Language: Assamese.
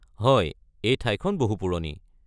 হয়, এই ঠাইখন বহু পুৰণি।